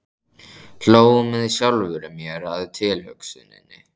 Hló með sjálfri mér að tilhugsuninni.